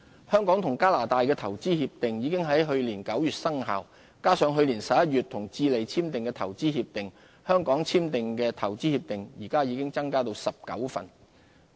香港與加拿大的投資協定已於去年9月生效，加上去年11月與智利簽署的投資協定，香港簽訂的投資協定現已增至19份。